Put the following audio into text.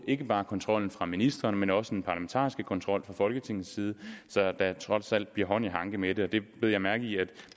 ikke bare kontrollen fra ministeren men også den parlamentariske kontrol fra folketingets side så der trods alt bliver hånd i hanke med det det bed jeg mærke i at